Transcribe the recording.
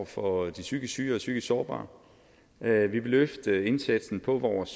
for de psykisk syge og psykisk sårbare vi vil løfte indsatsen på vores